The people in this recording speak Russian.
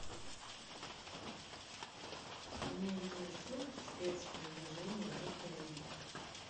меня интересует спецпредложение в отеле